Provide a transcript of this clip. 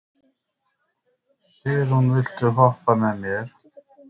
Sigurunn, viltu hoppa með mér?